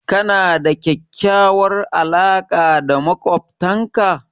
Kana da kyakkyawar alaqa da maƙwabtanka?